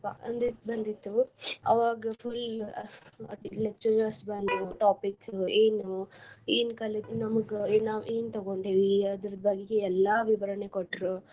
ಅಂಜಿಕ್ ಬಂದಿತ್ತು ಅವಾಗ full lecturers ಬಂದ್ರು topic ಏನ್ ಏನ್ ಕಲಿತಿ ನಮ್ಗ ಏನ್ ಏನ್ ತಗೊಂಡೀವಿ ಅದ್ರ ಬಗ್ಗೆ ಎಲ್ಲಾ ವಿವರಣೆ ಕೊಟ್ರು.